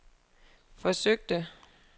forsøgte